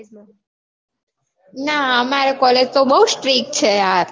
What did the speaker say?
ના અમાર college તો બઉ strick છે યાર.